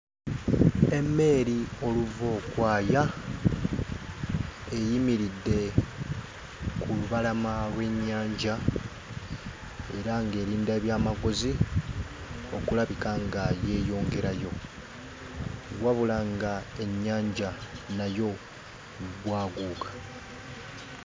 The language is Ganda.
Emmeeri oluvookwaya eyimiridde ku lubalama lw'ennyanja era ng'erinda ebyamaguzi okulabika nga yeeyongerayo, wabula ng'ennyanja nayo bwaguuga.